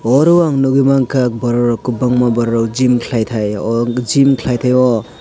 oro ang nugui manka borokrok kwbangma borokrok gym khwlai taio aw gym khlaitaio.